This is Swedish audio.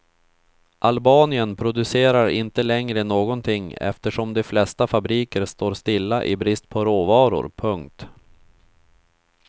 Albanien producerar inte längre någonting eftersom de flesta fabriker står stilla i brist på råvaror. punkt